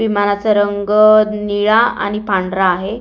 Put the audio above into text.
विमानाचा रंग निळा आणि पांढरा आहे.